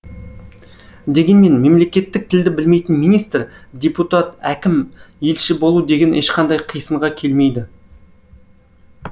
дегенмен мемлекеттік тілді білмейтін министр депутат әкім елші болу деген ешқандай қисынға келмейді